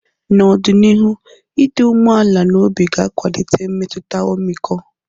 N'ọdịnihu, ịdị umeala n'obi ga-akwalite mmetụta ọmịiko.